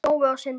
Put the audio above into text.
Nói og Sindri.